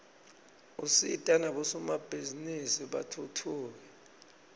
usita nabosomabhizinisi batfutfuke